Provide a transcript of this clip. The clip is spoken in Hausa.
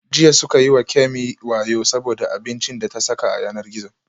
Jiya suka yi wa Kemi wayo saboda abincin da ta saka a yanar gizo